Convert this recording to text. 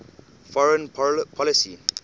foreign policy